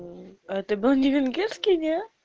это был не венгерский не